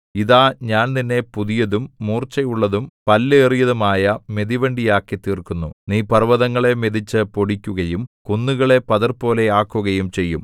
ഇതാ ഞാൻ നിന്നെ പുതിയതും മൂർച്ചയുള്ളതും പല്ലേറിയതും ആയ മെതിവണ്ടിയാക്കി തീർക്കുന്നു നീ പർവ്വതങ്ങളെ മെതിച്ചു പൊടിക്കുകയും കുന്നുകളെ പതിർപോലെ ആക്കുകയും ചെയ്യും